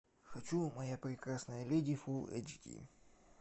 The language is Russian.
хочу моя прекрасная леди фул эйч ди